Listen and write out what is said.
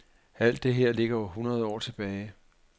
Alt det her ligger hundrede år tilbage.